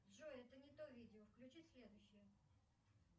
джой это не то видео включи следующее